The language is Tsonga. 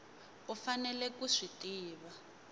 u faneleke ku swi tiva